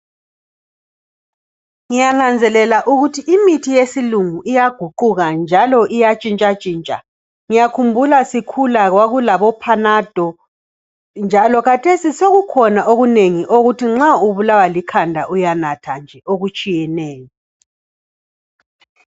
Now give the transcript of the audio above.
Ngiyananzelela ukuthi imithi yesilungu iyaguquka njalo iyatshintsha tshintsha. Ngiyakhumbula sisa khula kwakulabo "panado" njalo khathesi sokukhona okunengi okuthi nxa uulawa likhanda uyanatha nje okutshiyeneyo.